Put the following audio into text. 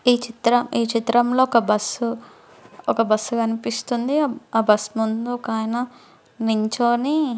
ఈ చిత్రం ఈ చిత్రంలో ఒక బస్సు ఒక బస్సు కనిపిస్తుంది. ఆ బస్సు ముందు ఒకాయన నించొని --